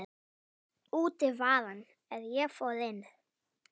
Úti var hann er ég fór inn.